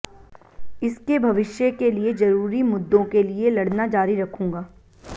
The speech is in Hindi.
इसके भविष्य के लिए जरूरी मुद्दों के लिए लड़ना जारी रखूंगा